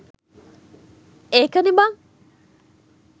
එකනේ බන්